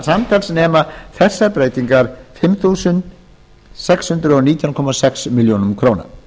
samtals nema þessar breytingar fimm þúsund sex hundruð og nítján komma sex milljónir króna